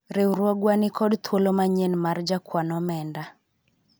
riwruogwa nikod thuolo manyien mar jakwan omenda